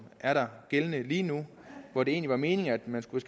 er gældende lige nu hvor det egentlig var meningen at man skulle